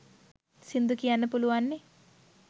සිංඳු කියන්න පුළුවන්නෙ